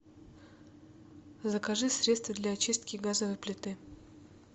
закажи средство для очистки газовой плиты